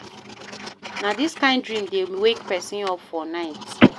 Na dis kain dream dey wake pesin up for night.